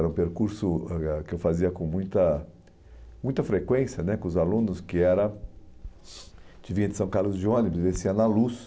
Era um percurso ãh que eu fazia com muita muita frequência né com os alunos, que era de vir de São Carlos de ônibus e descer na luz.